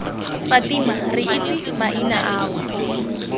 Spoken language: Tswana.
fatima re itse maina ao